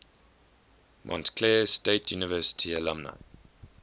montclair state university alumni